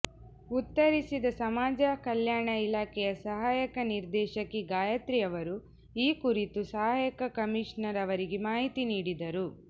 ಉತ್ತರಿಸಿದ ಸಮಾಜ ಕಲ್ಯಾಣ ಇಲಾಖೆಯ ಸಹಾಯಕ ನಿರ್ದೇಶಕಿ ಗಾಯತ್ರಿ ಅವರು ಈ ಕುರಿತು ಸಹಾಯಕ ಕಮೀಷನರ್ ಅವರಿಗೆ ಮಾಹಿತಿ ನೀಡಿದರು